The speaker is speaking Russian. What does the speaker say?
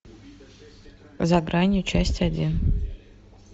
за гранью часть один